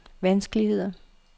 vanskeligheder